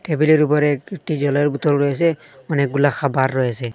টেবিলের উপরে একটি একটি জলের বোতল রয়েসে অনেকগুলা খাবার রয়েসে।